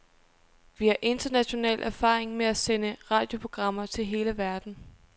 Vi har international erfaring med at sende radioprogrammer til hele verden.